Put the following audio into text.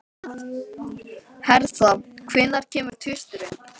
Hertha, hvenær kemur tvisturinn?